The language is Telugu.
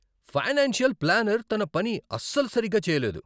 ఫైనాన్షియల్ ప్లానర్ తన పని అస్సలు సరిగ్గా చేయలేదు.